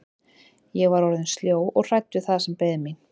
Ég var orðin sljó og hrædd við það sem beið mín.